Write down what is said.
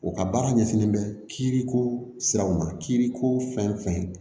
O ka baara ɲɛsinnen bɛ kiiri ko siraw ma kiiriko fɛn fɛn